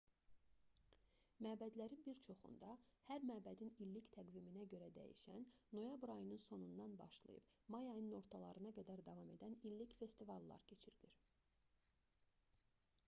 məbədlərin bir çoxunda hər məbədin illik təqviminə görə dəyişən noyabr ayının sonundan başlayıb may ayının ortalarına qədər davam edən illik festivallar keçirilir